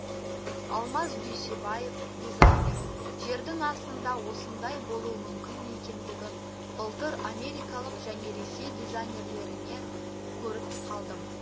алмаз дүйсебаев дизайнер жердің астында осындай болуы мүмкін екендігін былтыр америкалық және ресей дизайнерлерінен көріп қалдым